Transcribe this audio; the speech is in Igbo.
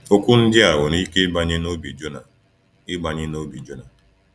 Okwu ndị a nwere ike ịbanye n’obi Jona. ịbanye n’obi Jona.